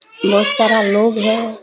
ये सारा लोग है।